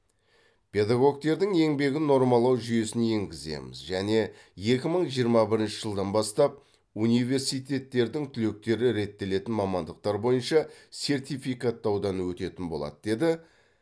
педагогтердің еңбегін нормалау жүйесін енгіземіз және екі мың жиырма бірінші жылдан бастап университеттердің түлектері реттелетін мамандықтар бойынша сертификаттаудан өтетін болады деді